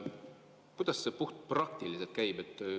Kuidas see puhtpraktiliselt käib?